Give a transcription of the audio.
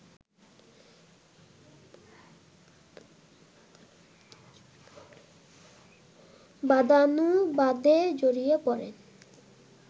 বাদানুবাদে জড়িয়ে পড়েন